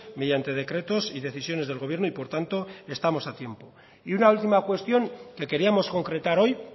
mediante decretos y decisiones del gobierno y por tanto estamos a tiempo y una última cuestión que queríamos concretar hoy